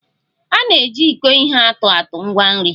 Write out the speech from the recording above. A na-eji iko ihe atụ atụ ngwa nri